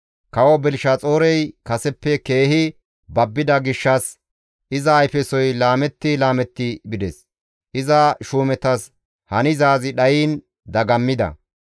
Kawo Belishaxoorey kaseppe keehi babbida gishshas iza ayfesoy laametti laametti bides; iza shuumetas hanizaazi dhayiin dagammida.